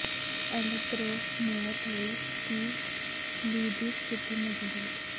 ਐਲਕ Grove mayor ਲਈ Steve Lee ਦੀ ਸਥਿਤੀ ਮਜ਼ਬੂਤ